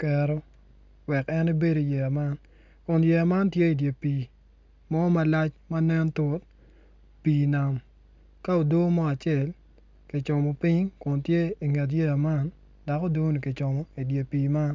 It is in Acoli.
kero wek en ebed iyeya man kun yeya man tye idye pii ma nen tut pii nam ka ado mo acel kicimo piny kun tye inget yeya man dok odoni kicomo idye pii man.